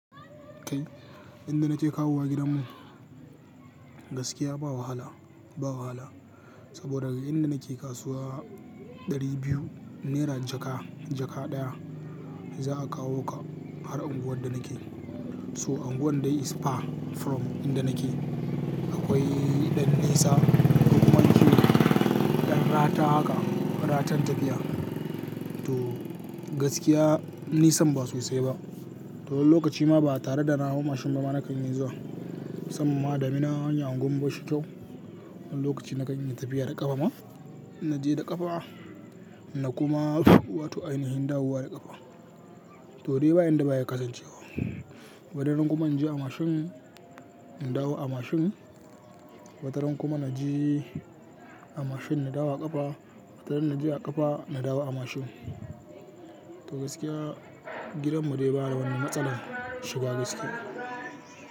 Kai, inda nake kawowa gidanmu gaskiya ba wahala, ba wahala. Saboda inda nake kasuwa ɗari biyu naira jaka, jaka ɗaya za a kawo ka har unguwar da nake. So unguwar dai is far from inda nake. Akwai ɗan nisa, hukuman ce, ɗan rata haka, ratan tafiya. To gaskiya nisan ba sosai ba. To lokaci ma ba tare da na hau mashin ba ma na kan iya zuwa. Sam ma adami na wani unguwar bashi kyau. Wani lokaci na kan yi tafiya da ƙafa ma. Na je da ƙafa, na kuma wato ainihin dawowa da ƙafa. To dai ba inda ba ya kasance ba. Wata ran kuma inje a mashin, na dawo a mashin. Wata ran kuma na je a mashin na dawo a ƙafa. Wata ran inje a ƙafa na dawo a mashin. To gaskiya gidanmu dai ba ya wani matsalar shiga gaskiya.